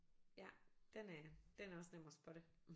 Ja den er den er også nem at spotte